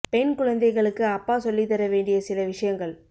பெண் குழந்தைகளுக்கு அப்பா சொல்லித்தர வேண்டிய சில விஷயங்கள்